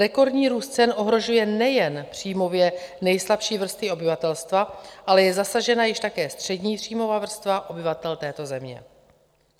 Rekordní růst cen ohrožuje nejen příjmově nejslabší vrstvy obyvatelstva, ale je zasažena již také střední příjmová vrstva obyvatel této země.